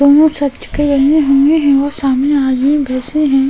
वो सच के मिले हुए हैं और सामने आज बैसे हैं।